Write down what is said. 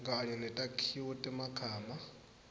kanye netakhiwo temagama